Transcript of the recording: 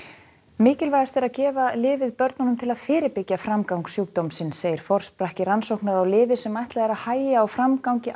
mikilvægast er að gefa lyfið börnum til að fyrirbyggja framgang sjúkdómsins segir forsprakki rannsóknar á lyfi sem ætlað er að hægja á framgangi